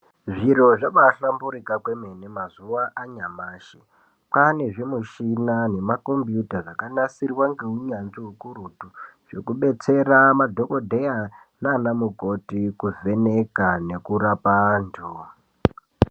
Zviro zvabahlamburika kwemene mazuwa anyamashi. Kwane zvimushina nemakombiyuta zvakanasirwa ngeunyanzvi ukurutu zvekubetsera madhokodheya naanamukoti kuvheneka nekurapa antu.